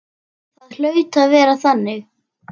Það hlaut að vera þannig.